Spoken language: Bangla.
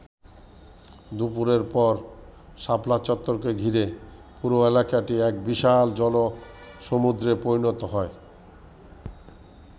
দুপুরের পর শাপলা চত্বরকে ঘিরে পুরো এলাকাটি এক বিশাল জনসমুদ্রে পরিণত হয়।